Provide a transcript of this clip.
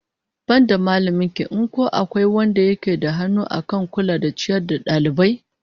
Banda mallamin ki in ko akwai wanda yake da hannu akan kula da ciyar da dalibai?